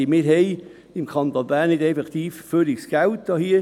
Der Kanton Bern hat nicht einfach zu viel Geld.